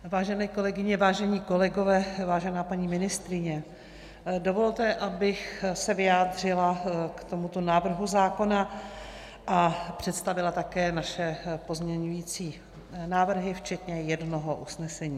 Vážené kolegyně, vážení kolegové, vážená paní ministryně, dovolte, abych se vyjádřila k tomuto návrhu zákona a představila také naše pozměňovací návrhy včetně jednoho usnesení.